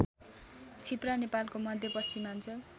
छिप्रा नेपालको मध्यपश्चिमाञ्चल